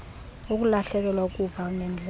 ukulahlekelwa kukuva ngeendlebe